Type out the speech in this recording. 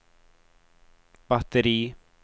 batteri